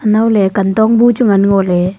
anowley kantongbu chu ngan ngoley.